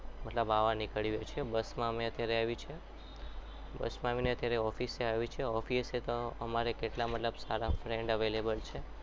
મતલબ આવા નીકળીએ છીએ બસ માં અમે અત્ત્યારે આવીએ છીએ. બસ માં આવીને ત્યારે office એ આવીએ છીએ. office એતો અમારે કેટલા મતલબ સારા friend available છે.